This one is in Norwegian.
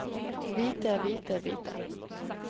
hvite hvite hvite